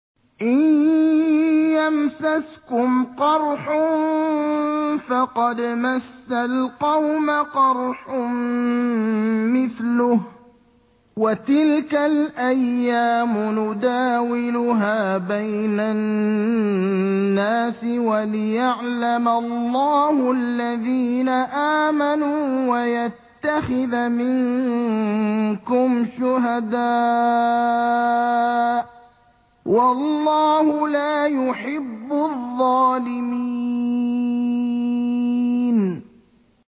إِن يَمْسَسْكُمْ قَرْحٌ فَقَدْ مَسَّ الْقَوْمَ قَرْحٌ مِّثْلُهُ ۚ وَتِلْكَ الْأَيَّامُ نُدَاوِلُهَا بَيْنَ النَّاسِ وَلِيَعْلَمَ اللَّهُ الَّذِينَ آمَنُوا وَيَتَّخِذَ مِنكُمْ شُهَدَاءَ ۗ وَاللَّهُ لَا يُحِبُّ الظَّالِمِينَ